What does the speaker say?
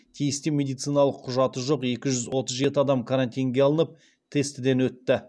тиісті медициналық құжаты жоқ екі жүз отыз жеті адам карантинге алынып тестіден өтті